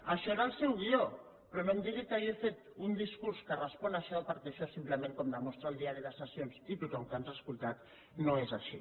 això era el seu guió però no em digui que jo he fet un discurs que respon a això perquè això simplement com demostra el diari de sessions i tothom que ens ha escoltat no és així